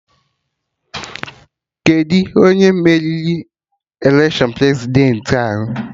Kedụ onye meriri election Prezidentị ahụ?